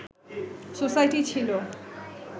society ছিল